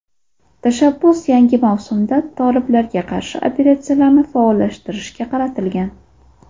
Tashabbus yangi mavsumda toliblarga qarshi operatsiyalarni faollashtirishga qaratilgan.